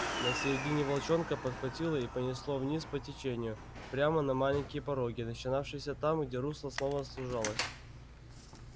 на середине волчонка подхватило и понесло вниз по течению прямо на маленькие пороги начинавшиеся там где русло снова сужалось